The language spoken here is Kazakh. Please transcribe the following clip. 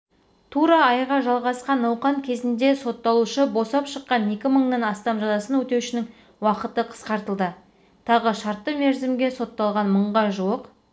тура айға жалғасқан науқан кезінде сотталушы босап шыққан екі мыңнан астам жазасын өтеушінің уақыты қысқартылды тағы шартты мерзімге сотталған мыңға жуық